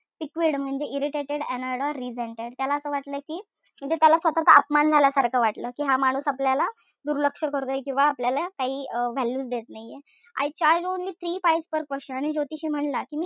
Piqued म्हणजे irritated annoyed resented त्याला असं वाटलं कि म्हणजे त्याला स्वतःचा अपमान झाल्यासारखं वाटलं. कि हा माणूस आपल्याला दुर्लक्ष करतोय. किंवा आपल्याला काई value च देत नाई. I charge only three pays per question आणि ज्योतिषी म्हणला कि मी,